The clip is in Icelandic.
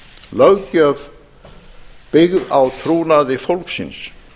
löggjöf byggð á trúnaði fólksins